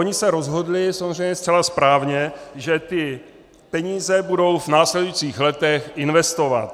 Oni se rozhodli, samozřejmě zcela správně, že ty peníze budou v následujících letech investovat.